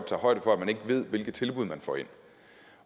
tager højde for at man ikke ved hvilke tilbud man får ind